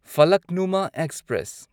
Falaknuma express